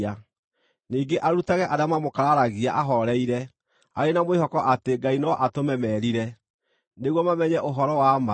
Ningĩ arutage arĩa mamũkararagia ahooreire, arĩ na mwĩhoko atĩ Ngai no atũme merire, nĩguo mamenye ũhoro wa ma,